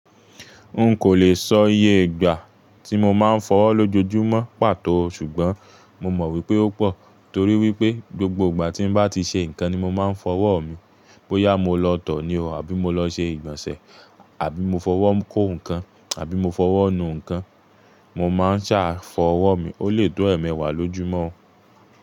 N kò le sọ iye ìgbà tí mo máa ń fọwọ́ lójoojúmọ́ pàtó, ṣùgbọ́n mo mọ̀ wípé ó pọ̀ torí wípé gbogbo ìgbà tí ń bá ti ṣe ǹkan ni mo máa ń fọwọ́ mi. Bóyá mo lọ tọ̀ ní o, àbí mo lọ ṣe ìgbọ̀nsẹ̀, àbí mo fọwọ́ kó ǹkan, àbí mo fọwọ́ nu ǹkan, mo máa ń sa fọwọ́ mi. Ó lè tó ẹ̀ẹ̀mẹwà lójúmọ́